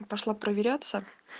пошла проверяться